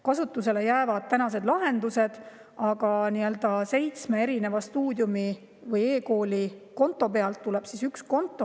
Kasutusele jäävad tänased lahendused, aga Stuudiumi või eKooli seitsme erineva konto tuleb üks konto.